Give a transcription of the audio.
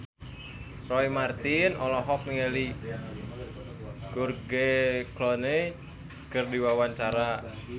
Roy Marten olohok ningali George Clooney keur diwawancara